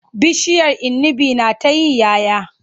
Bishiyar inibi na ta yi 'ya 'ya.